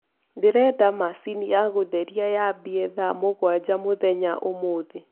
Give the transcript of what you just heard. ndĩrenda machĩnĩ ya gutherĩa ya ambie thaa mũgwanja mũthenyaũmũthĩ